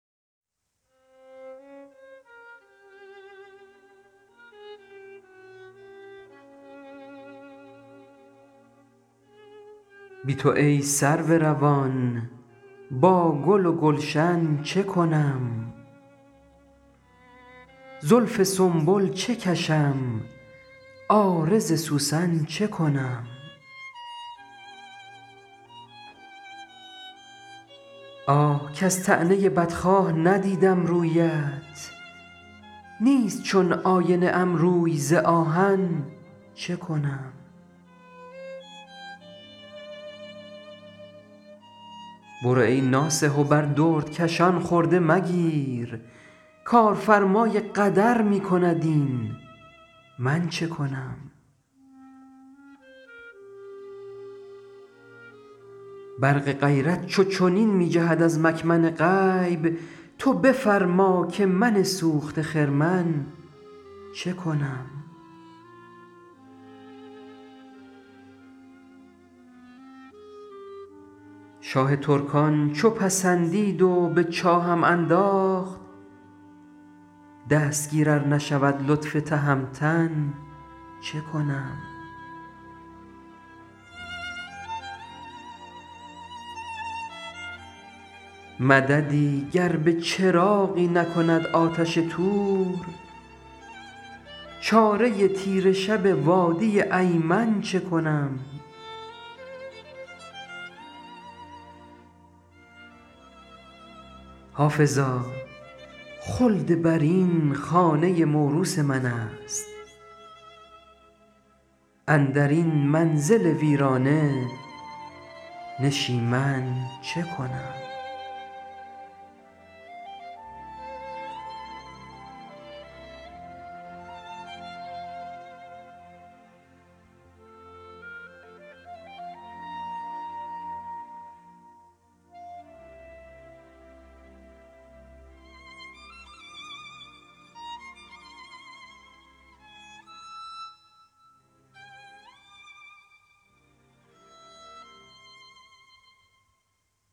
بی تو ای سرو روان با گل و گلشن چه کنم زلف سنبل چه کشم عارض سوسن چه کنم آه کز طعنه بدخواه ندیدم رویت نیست چون آینه ام روی ز آهن چه کنم برو ای ناصح و بر دردکشان خرده مگیر کارفرمای قدر می کند این من چه کنم برق غیرت چو چنین می جهد از مکمن غیب تو بفرما که من سوخته خرمن چه کنم شاه ترکان چو پسندید و به چاهم انداخت دستگیر ار نشود لطف تهمتن چه کنم مددی گر به چراغی نکند آتش طور چاره تیره شب وادی ایمن چه کنم حافظا خلدبرین خانه موروث من است اندر این منزل ویرانه نشیمن چه کنم